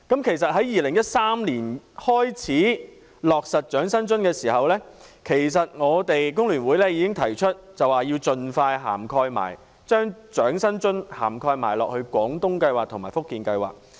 其實在2013年開始落實長者生活津貼時，我們工聯會已經提出要盡快把長生津納入"廣東計劃"和"福建計劃"。